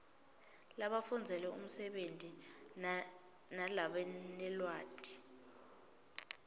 labafundzele umsebenti nalabanelwati